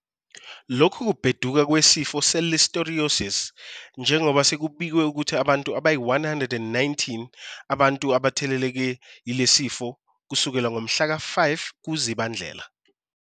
lokhu kubheduka kwesifo se-Listeriosis, njengoba sekubikwe ukuthi bayi-119 abantu abatheleleke yilesi sifo kusukela ngomhla ka-5 kuZibandlela.